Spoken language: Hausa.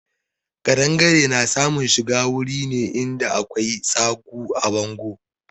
Ƙadangare na samun shiga wuri ne in da akwai tsagu a bangon.